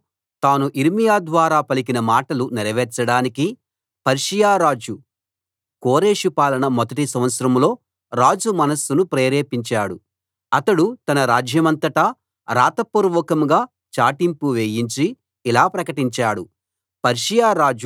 యెహోవా తాను యిర్మీయా ద్వారా పలికిన మాటలు నెరవేర్చడానికి పర్షియా రాజు కోరెషు పాలన మొదటి సంవత్సరంలో రాజు మనస్సును ప్రేరేపించాడు అతడు తన రాజ్యమంతటా రాతపూర్వకంగా చాటింపు వేయించి ఇలా ప్రకటించాడు